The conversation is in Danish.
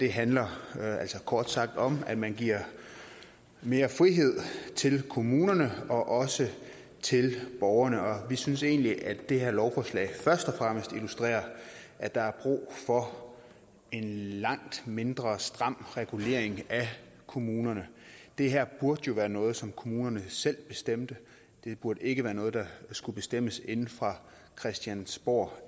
handler altså kort sagt om at man giver mere frihed til kommunerne og også til borgerne og vi synes egentlig at det her lovforslag først og fremmest illustrerer at der er brug for en langt mindre stram regulering af kommunerne det her burde jo være noget som kommunerne selv bestemte det burde ikke være noget der skulle bestemmes inde fra christiansborg